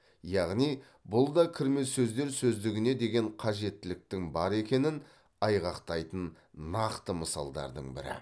яғни бұл да кірме сөздер сөздігіне деген қажеттіліктің бар екенін айғақтайтын нақты мысалдардың бірі